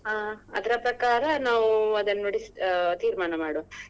ಹ ಅದ್ರ ಪ್ರಕಾರ ನಾವ್ ಅದನ್ನು ನೋಡಿ ಆಹ್ ತೀರ್ಮಾನ ಮಾಡುವ.